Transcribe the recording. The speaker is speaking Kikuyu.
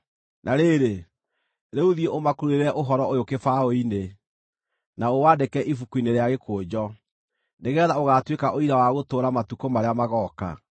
Na rĩrĩ, rĩu thiĩ ũmakururĩre ũhoro ũyũ kĩbaũ-inĩ, na ũwandĩke ibuku-inĩ rĩa gĩkũnjo, nĩgeetha ũgaatuĩka ũira wa gũtũũra matukũ marĩa magooka.